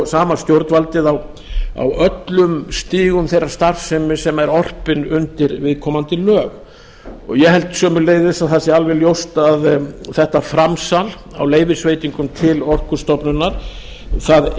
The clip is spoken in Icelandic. sama stjórnvaldið á öllum stigum þeirrar starfsemi sem er orpin undir viðkomandi lög ég held sömuleiðis að það sé alveg ljóst að þetta framsal á leyfisveitingum til orkustofnunar það